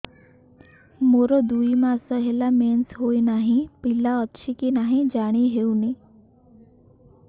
ମୋର ଦୁଇ ମାସ ହେଲା ମେନ୍ସେସ ହୋଇ ନାହିଁ ପିଲା ଅଛି କି ନାହିଁ ଜାଣି ହେଉନି